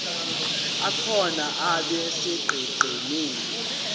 akhona abe sonqenqemeni